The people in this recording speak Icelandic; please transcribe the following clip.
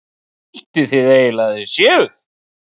Hvað haldið þið eiginlega að þið séuð?